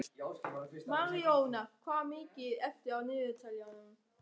Marjón, hvað er mikið eftir af niðurteljaranum?